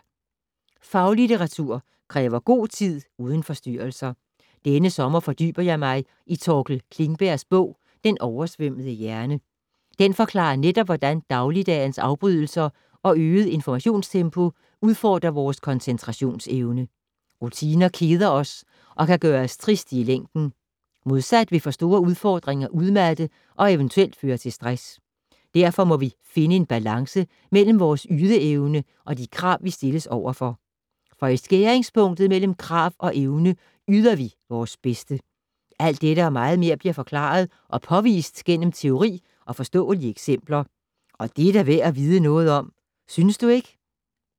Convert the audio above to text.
Faglitteratur kræver god tid uden forstyrrelser. Denne sommer fordyber jeg mig i Torkel Klingbergs bog Den oversvømmede hjerne. Den forklarer netop, hvordan dagligdagens afbrydelser og øget informationstempo udfordrer vores koncentrationsevne. Rutiner keder os og kan gøre os triste i længden. Modsat vil for store udfordringer udmatte og eventuelt føre til stress. Derfor må vi finde en balance mellem vores ydeevne og de krav vi stilles overfor. For i skæringspunktet mellem krav og evne yder vi vores bedste. Alt dette og meget mere bliver forklaret og påvist gennem teori og forståelige eksempler. Og det er da værd at vide noget om, synes du ikke?